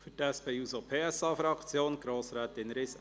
Für die SP-JUSO-PSA-Fraktion: Grossrätin Riesen.